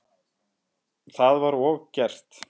Það var og gert.